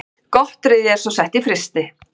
Gotteríið er svo sett í frysti